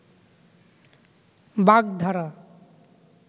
বাগধারা